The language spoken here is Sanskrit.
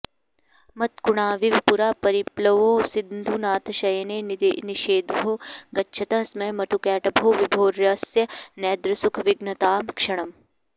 मत्कुणाविव पुरा परिप्लवौ सिन्धुनाथशयने निषेदुषः गच्छतः स्म मधुकैटभौ विभोर्यस्य नैद्रसुखविघ्नतां क्षणम्